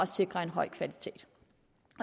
sikrer en høj kvalitet